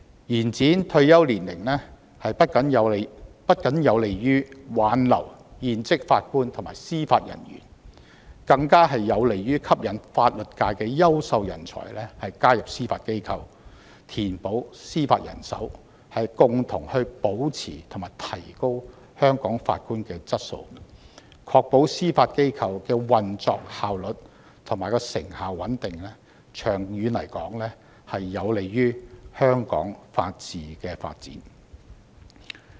延展退休年齡不僅有利於挽留現職法官及司法人員，更有利於吸引法律界的優秀人才加入司法機構，填補司法人手，共同保持並提高香港法官的質素，確保司法機構的運作效率、成效和穩定，長遠有利於香港的法治發展。